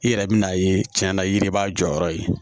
I yɛrɛ bɛ n'a ye tiɲɛna yiri b'a jɔyɔrɔ ye